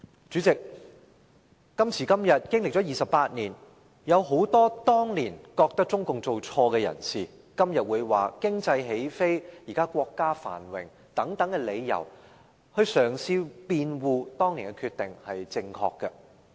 主席，今時今日，經歷了28年，有很多當年覺得中共做錯的人，今天會以國家現在經濟起飛和繁榮等理由，嘗試辯護當年的決定是正確的。